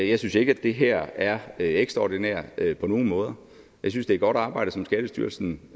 jeg synes ikke at det her er ekstraordinært på nogen måde jeg synes det er godt arbejde som skattestyrelsen